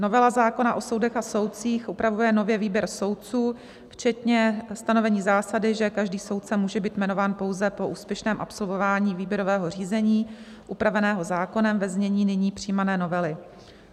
Novela zákona o soudech a soudcích upravuje nově výběr soudců včetně stanovení zásady, že každý soudce může být jmenován pouze po úspěšném absolvování výběrového řízení upraveného zákonem ve znění nyní přijímané novely.